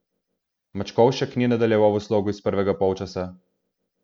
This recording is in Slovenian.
Mačkovšek ni nadaljeval v slogu iz prvega polčasa.